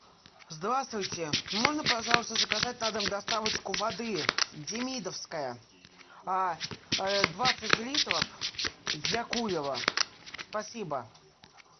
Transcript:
здравствуйте можно пожалуйста заказать на дом доставочку воды демидовская двадцать литров для кулера спасибо